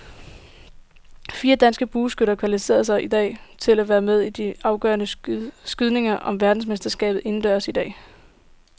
Fire danske bueskytter kvalificerede sig til at være med i de afgørende skydninger om verdensmesterskaberne indendørs i dag.